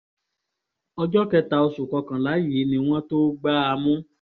ọjọ́ kẹta oṣù kọkànlá yìí ni wọ́n tóó gbá a mú